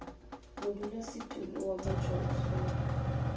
modulasetulo wa motšwa o swere